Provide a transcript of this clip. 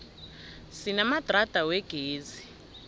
sinamadrada wegezi